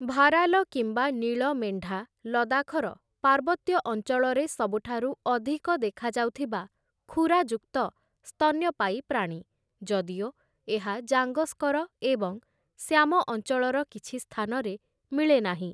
Viral କିମ୍ବା ନୀଳ ମେଣ୍ଢା ଲଦାଖର ପାର୍ବତ୍ୟ ଅଞ୍ଚଳରେ ସବୁଠାରୁ ଅଧିକ ଦେଖାଯାଉଥିବା ଖୁରାଯୁକ୍ତ ସ୍ତନ୍ୟପାୟୀ ପ୍ରାଣୀ, ଯଦିଓ ଏହା ଜାଙ୍ଗସ୍କର ଏବଂ ଶ୍ୟାମ ଅଞ୍ଚଳର କିଛି ସ୍ଥାନରେ ମିଳେନାହିଁ ।